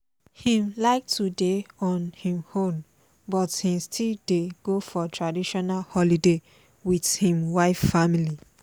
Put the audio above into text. im like to dey on im own but im still dey go for traitional holiday with im wife family